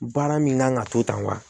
Baara min kan ka to tan wa